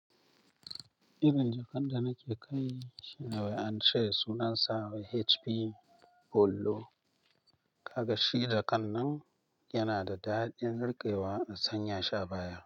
Irin jakan da nake kai shine wai an ce sunansa HP Polo. Kaga shi ja kan nan yana da daɗin riƙewa da sanya shi a baya.